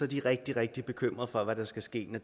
de er rigtig rigtig bekymrede for hvad der skal ske når